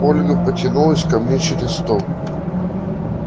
ольга потянулась ко мне через стол